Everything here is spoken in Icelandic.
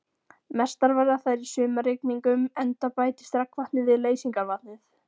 Mestar verða þær í sumarrigningum enda bætist regnvatnið við leysingarvatnið.